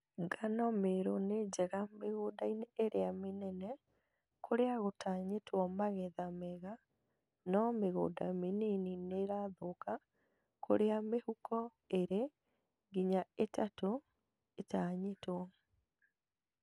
Ngano Meru nĩ njega mĩgũnda-inĩ ĩrĩa mĩnene kũrĩa gũtanyĩtwo magetha mega no mĩgunda mĩnini nĩĩrathũka kũrĩa mĩhuko ĩĩrĩ nginya ĩtatũ ĩtanyĩtwo